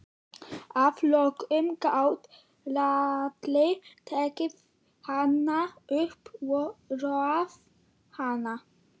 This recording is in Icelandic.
Að lokum gat Lalli tekið hana upp og róað hana.